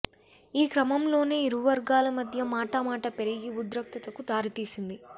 ఈ క్రమంలోనే ఇరువర్గాల మధ్య మాట మాట పెరిగి ఉద్రిక్తతకు దారితీసింది